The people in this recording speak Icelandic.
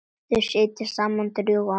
Þau sitja saman drjúga stund.